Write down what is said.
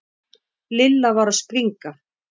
Lilla var að springa.